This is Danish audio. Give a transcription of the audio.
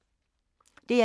DR1